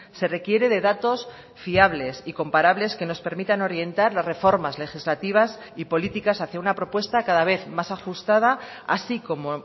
se requiere de datos fiables y comparables que nos permitan orientar las reformas legislativas y políticas hacia una propuesta cada vez más ajustada así como